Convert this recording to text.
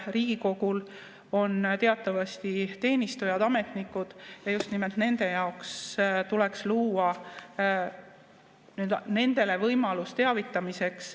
Riigikogul on teatavasti teenistujad, ametnikud ja just nimelt nendele tuleks luua võimalus teavitamiseks.